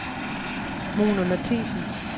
Mona Mathiassen